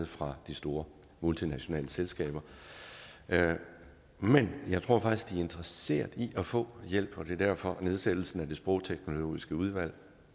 fra de store multinationale selskaber men jeg tror faktisk de er interesseret i at få hjælp og det er derfor at nedsættelsen af det sprogteknologiske udvalg